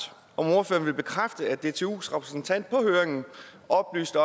vil ordføreren bekræfte at dtus repræsentant på høringen oplyste